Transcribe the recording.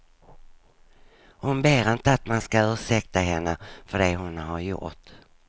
Hon ber inte att man ska ursäkta henne för det hon har gjort.